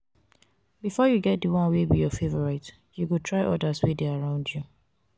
before you get di one wey be your favourite you go try others wey de around you